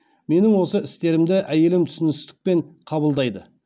менің осы істерімді әйелім түсіністікпен қабылдайды